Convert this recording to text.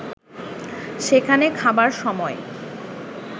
সেখানে খাবার সময়